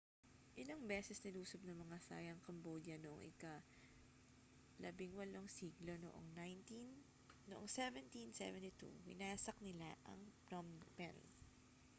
ilang beses nilusob ng mga thai ang cambodia noong ika-18 siglo at noong 1772 winasak nila ang phnom phen